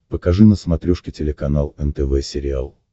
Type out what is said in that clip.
покажи на смотрешке телеканал нтв сериал